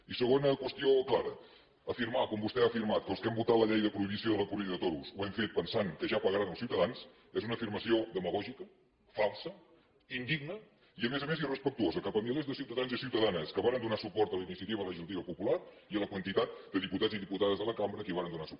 i segona qüestió clara afirmar com vostè ha afirmat que els que hem votat la llei de prohibició de les corrides de toros ho hem fet pensant que ja pagaran els ciutadans és una afirmació demagògica falsa indigna i a més a més irrespectuosa cap a milers de ciutadans i ciutadanes que varen donar suport a la iniciativa legislativa popular i a la quantitat de diputats i diputades de la cambra que hi vàrem donar suport